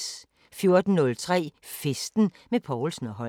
14:03: Festen med Povlsen & Holm